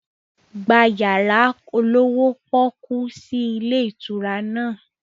Gba yàrá olówó pọ́kú sì ilé ìtura náà!